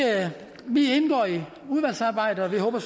udvalgsarbejdet og vi håber